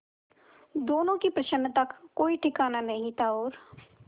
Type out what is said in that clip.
दोनों की प्रसन्नता का कोई ठिकाना नहीं था और